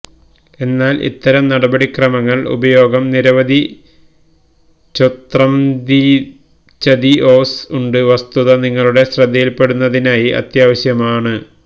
എന്നാൽ ഇത്തരം നടപടിക്രമങ്ങൾ ഉപയോഗം നിരവധി ചൊംത്രൈംദിചതിഒംസ് ഉണ്ട് വസ്തുത നിങ്ങളുടെ ശ്രദ്ധയിൽപ്പെടുന്നതിനായി അത്യാവശ്യമാണ്